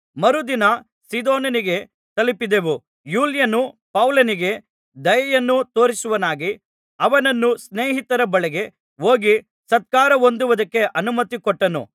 ಮರುದಿನ ಸೀದೋನಿಗೆ ತಲುಪಿದೆವು ಯೂಲ್ಯನು ಪೌಲನಿಗೆ ದಯೆಯನ್ನು ತೋರಿಸುವವನಾಗಿ ಅವನನ್ನು ಸ್ನೇಹಿತರ ಬಳಿಗೆ ಹೋಗಿ ಸತ್ಕಾರ ಹೊಂದುವುದಕ್ಕೆ ಅನುಮತಿಕೊಟ್ಟನು